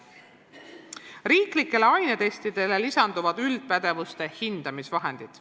Riiklikele ainetestidele lisanduvad üldpädevuste hindamise vahendid.